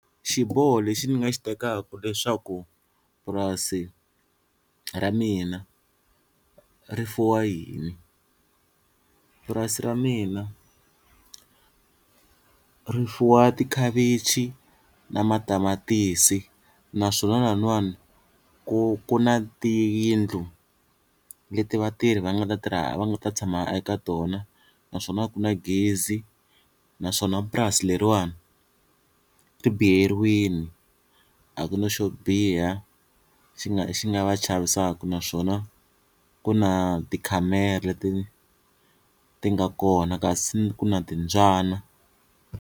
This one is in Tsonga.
Xiboho lexi ni nga xi tekaku leswaku purasi ra mina rifuwa yini, purasi ra mina ri fuwa tikhavechi na matamatisi naswona laniwani ku ku na tiyindlu leti vatirhi va nga ta tirha va nga ta tshama eka tona naswona a ku na gezi naswona purasi leriwani ri biyeriwini a ku na xo biha xi nga xi nga va chavisaka naswona ku na tikhamera leti ti nga kona kasi ku na timbyana.